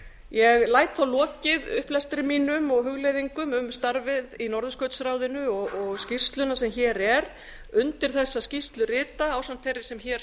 ég læt þá lokið upplestri mínum og hugleiðingum um starfið í norðurskautsráðinu og skýrsluna sem hér er undir þessa skýrslu rita ásamt þeirri sem hér